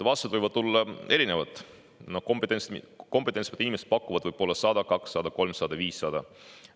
Vastused võivad olla erinevad, kompetentsed inimesed pakuvad võib-olla 100, 200, 300, 500.